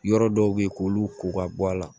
Yɔrɔ dɔw bɛ ye k'olu ko ka bɔ a la